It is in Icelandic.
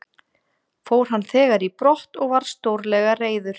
Fór hann þegar í brott og var stórlega reiður.